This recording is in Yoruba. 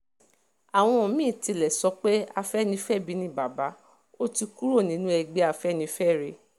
àwọn mí-ín tilẹ̀ sọ pé afẹ́nifẹ́bi ni bàbá ó ti kúrò nínú ẹgbẹ́ afẹ́nifẹ́re